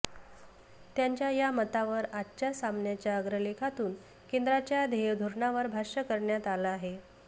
त्यांच्या या मतावर आजच्या सामनाच्या अग्रलेखातून केंद्राच्या ध्येयधोरणावर भाष्य करण्यात आलं आहे